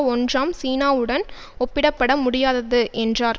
ஒன்றாம் சீனாவுடன் ஒப்பிடப்பட முடியாதது என்றார்